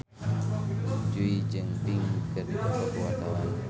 Jui jeung Pink keur dipoto ku wartawan